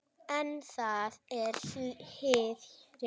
En það er hið rétta.